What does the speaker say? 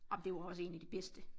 Ej men det jo også en af de bedste